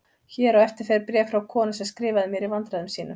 Hér á eftir fer bréf frá konu sem skrifaði mér í vandræðum sínum